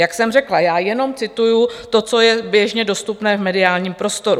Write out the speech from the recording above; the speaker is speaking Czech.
Jak jsem řekla, já jenom cituji to, co je běžně dostupné v mediálním prostoru.